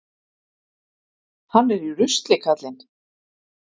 Hann er í rusli, karlinn.